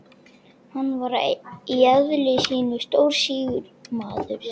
Hann var í eðli sínu stórstígur maður.